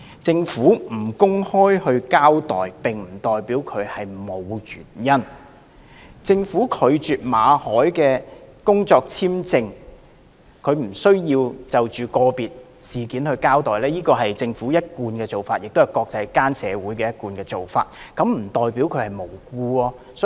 政府不公開交代並不代表沒有原因；政府拒絕為馬凱先生的工作簽證續期而不就個別事件交代，是政府的一貫做法，亦是國際間的一貫做法，並不代表這就是"無故拒絕"。